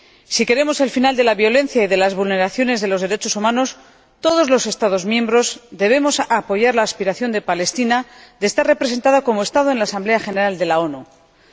Si queremos el final de la violencia y de las vulneraciones de los derechos humanos, todos los Estados miembros debemos apoyar la aspiración de Palestina a estar representada como Estado en la Asamblea General de las Naciones Unidas.